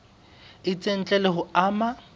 itseng ntle le ho ama